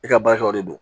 E ka baarakɛwaw de don